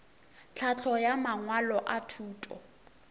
tlhahlo ya mangwalo a thuto